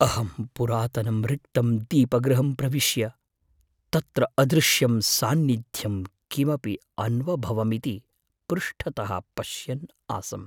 अहं पुरातनं रिक्तं दीपगृहं प्रविश्य, तत्र अदृश्यं सान्निद्ध्यम् किमपि अन्वभवमिति पृष्ठतः पश्यन् आसम्।